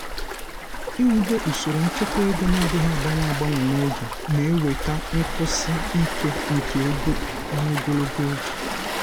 iwube usoro nchekwa ego um na-adịghị agbanwe agbanwe n'oge na-eweta nkwụsi um ike nke ego n'ogologo oge.